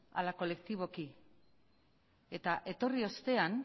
ala kolektiboki eta etorri ostean